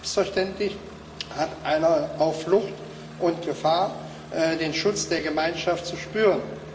Selbstverständlich hat einer auf Flucht und in Gefahr den Schutz der Gemeinschaft zu spüren.